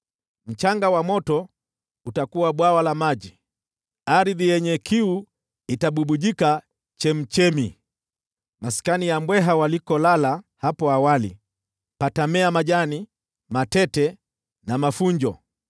Mchanga wa moto utakuwa bwawa la maji, ardhi yenye kiu itabubujika chemchemi. Maskani ya mbweha walikolala hapo awali patamea majani, matete na mafunjo.